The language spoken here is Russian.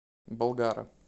болгара